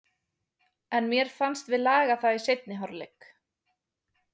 En mér fannst við laga það í seinni hálfleik.